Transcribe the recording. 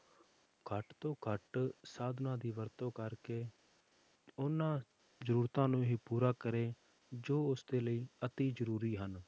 ਘੱਟ ਤੋਂ ਘੱਟ ਸਾਧਨਾਂ ਦੀ ਵਰਤੋਂ ਕਰਕੇ ਉਹਨਾਂ ਜ਼ਰੂਰਤਾਂ ਨੂੰ ਹੀ ਪੂਰਾ ਕਰੇ, ਜੋ ਉਸਦੇ ਲਈ ਅਤਿ ਜ਼ਰੂਰੀ ਹਨ।